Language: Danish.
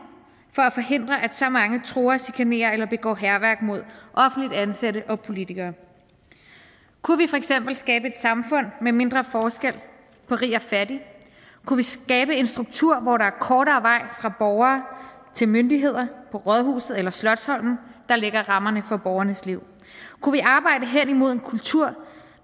for at forhindre at så mange truer chikanerer eller begår hærværk mod offentligt ansatte og politikere kunne vi for eksempel skabe et samfund med mindre forskel på rig og fattig kunne vi skabe en struktur hvor der er kortere vej fra borger til myndigheder på rådhuset eller slotsholmen der lægger rammerne for borgernes liv kunne vi arbejde henimod en kultur